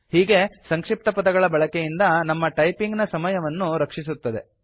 ಹೀಗೆ ಸಂಕ್ಷಿಪ್ತಪದಗಳ ಬಳಕೆಯಿಂದ ನಮ್ಮ ಟೈಪಿಂಗ್ ನ ಸಮಯವನ್ನು ರಕ್ಷಿಸುತ್ತದೆ